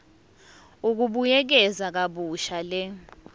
ukubuyekeza kabusha le